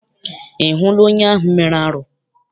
Ị hụla onye ahụ mere arụ?